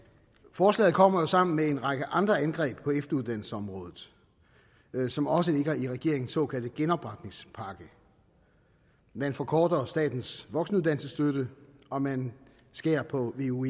forslaget kommer jo sammen med en række andre angreb på efteruddannelsesområdet som også ligger i regeringens såkaldte genopretningspakke man forkorter statens voksenuddannelsesstøtte og man skærer på veu